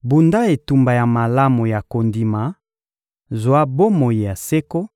Bunda etumba ya malamu ya kondima, zwa bomoi ya seko,